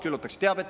Nii et ……….